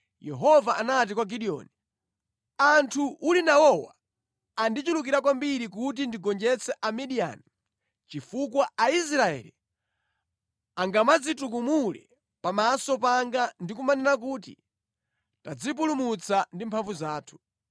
Yehova anati kwa Gideoni, “Anthu uli nawowa andichulukira kwambiri kuti ndigonjetse Amidiyani chifukwa Aisraeli angamadzitukumule pamaso panga ndi kumanena kuti, ‘Tadzipulumutsa ndi mphamvu zathu.’